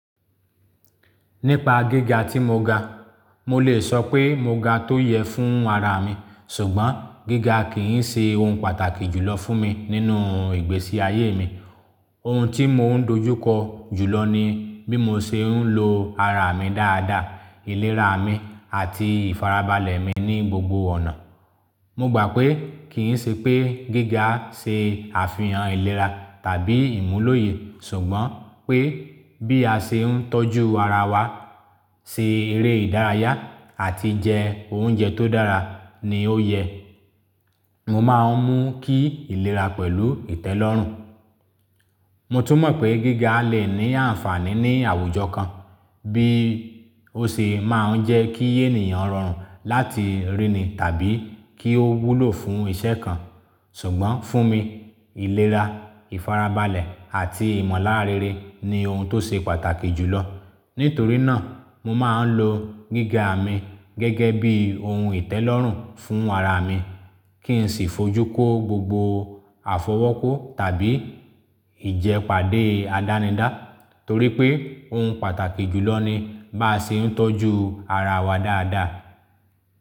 Nípa gíga tí mo ga, mo lè sọ pé mo ga ti ó yẹ fún ara mi, ṣùgbọ́n gíga kì í ṣe ohun pàtàkì jùlọ fún mi nínú ìgbésí ayé mi. Ohun tí mò ń dojú kọ jùlọ ni bí mo ṣe ń lo ara mi dáadáa, ìlera mi àti ìfarabalẹ̀ mi ní gbogbo ọ̀nà. Mo gbà pé kì í ṣe pé gíga ṣe àfihàn ìlera tàbí ìmúlòye, ṣùgbọ́n pé bí a ṣe ń tọ́jú ara wa, ṣe eré ìdárayá àti jẹ oúnjẹ tó dára ni ó yẹ. Mo máa ń mú kí ìlera pẹ̀lú ìtẹ́lọ́rùn. Mo tún mọ̀ pé gíga lè ní àǹfààní ní àwùjọ kan, bí ó ṣe máa ń jẹ́ kí ènìyàn rọrùn láti ríni tàbí kí ó wúlò fún iṣẹ́ kan. Ṣùgbọ́n fún mi, ìlera, ìfarabalẹ̀ àti ìmọ̀lára rere ni ohun ti ó ṣe pàtàkì jùlọ. Nitori naa, mo maa n lo giga mi gege bi ohun itelorun fun ara mi, ki n si fi oju ko gbogbo afi owo ko, tabi ije pade adanida torí pé ohun pàtàkì jùlọ ni bá ṣe ń tọ́jú ara wa dáadáa.